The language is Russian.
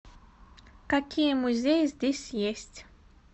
какие музеи здесь есть